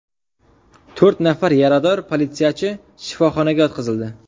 To‘rt nafar yarador politsiyachi shifoxonaga yotqizildi.